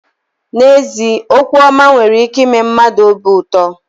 N'ezie okwu ọma nwere ike ime mmadụ obi ụtọ.